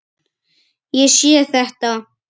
Ég sé þetta.